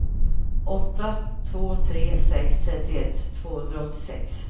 åtta två tre sex trettioett tvåhundraåttiosex